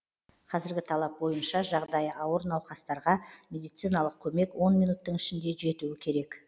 қазіргі талап бойынша жағдайы ауыр науқастарға медициналық көмек он минуттың ішінде жетуі керек